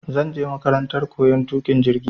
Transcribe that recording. Zanje makarantar koyan tuƙin jirgi